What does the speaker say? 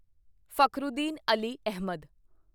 Fakhruddin Ali Ahmad